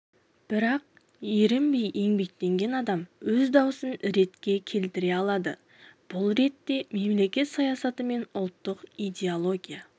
бірақ ерінбей еңбектенген адам өз даусын ретке келтіре алады бұл ретте мемлекет саясаты мен ұлттық идеология